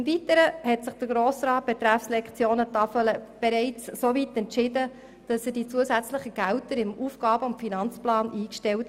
Im Weiteren hat der Grosse Rat bereits die zusätzlichen Mittel für den Ausbau der Lektionentafel im Aufgaben-/Finanzplan eingestellt.